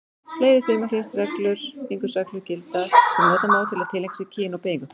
Fleiri þumalfingursreglur gilda sem nota má til að tileinka sér kyn og beygingu.